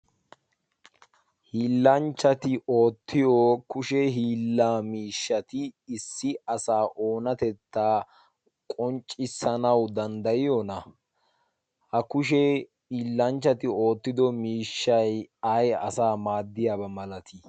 hiillanchchati oottiyo kushee hiillaa miishshati issi asa oonatettaa qonccissanau danddayiyoona. ha kushee hiillanchchati oottido miishshay ay asaa maaddiyaaba malatii?